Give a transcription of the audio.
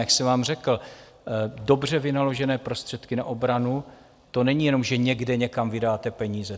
Jak se vám řekl, dobře vynaložené prostředky na obranu, to není jenom, že někde někam vydáte peníze.